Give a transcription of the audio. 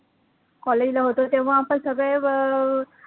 college ला होतो तेव्हा आपण सगळे